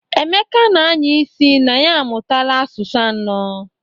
Emeka na-anya isi na ya amụtaala asụsụ anọ.